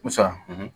Musa